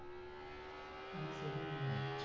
আমি second year আচ্ছা~